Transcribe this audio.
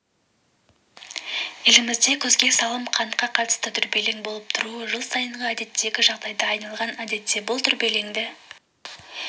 елімізде күзге салым қантқа қатысты дүрбелең болып тұруы жыл сайынғы әдеттегі жағдайға айналған әдетте бұл дүрбелеңді